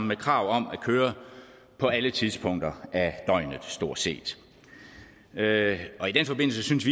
med krav om at køre på alle tidspunkter af døgnet stort set i den forbindelse synes